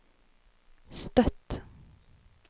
Støtt